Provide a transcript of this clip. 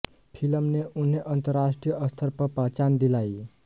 film ने उन्हें अंतर्राष्ट्रीय स्तर पर पहचान दिलाई